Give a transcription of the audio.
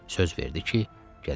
Söz verdi ki, gələcək.